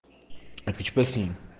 так что с ним